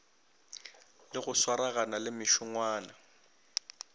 le go swaragana le mešongwana